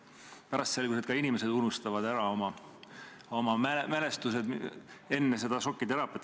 Pärast selgus, et ka inimesed unustavad ära oma mälestused enne seda šokiteraapiat.